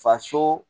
Faso